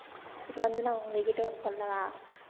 இப்ப வந்து நான் உங்க கிட்ட ஒண்ணு சொல்லவா